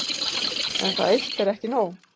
En það eitt er ekki nóg.